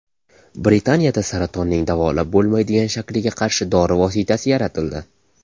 Britaniyada saratonning davolab bo‘lmaydigan shakliga qarshi dori vositasi yaratildi.